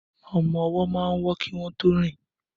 Ọmọ-ọwọ́ máa ń wọ́ kí wọ́n tó rìn